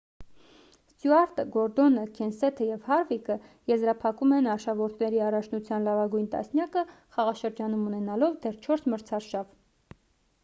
ստյուարտը գորդոնը քենսեթը և հարվիկը եզրափակում են արշավորդների առաջնության լավագույն տասնյակը խաղաշրջանում ունենալով դեռ չորս մրցարշավ